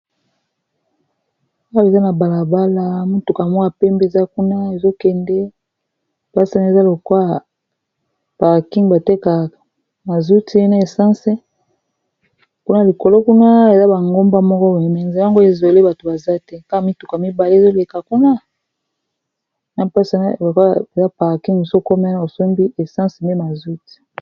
owo eza na balabala mutuka mwaa pe mbeza kuna ezokende pasina eza lokwaya parking bateka mazouti ene essense kuna likolo kuna eza bangomba moko beemenze yango ezole bato baza te kaka mituka mibale ezoleka kuna na mpesena lokwa eza parking sokome osombi essence me mazouti